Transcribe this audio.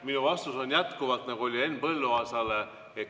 Minu vastus on jätkuvalt sama, nagu oli Henn Põlluaasale.